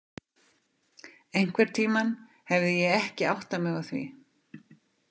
Einhvern tímann hefði ég ekki áttað mig á því.